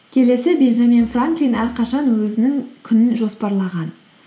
келесі бенджамин франклин әрқашан өзінің күнін жоспарлаған